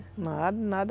Nada, nada.